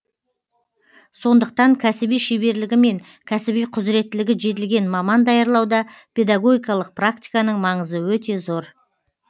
сондықтан кәсіби шеберлігі мен кәсіби құзіреттілігі жетілген маман даярлауда педагогикалық практиканың маңызы өте зор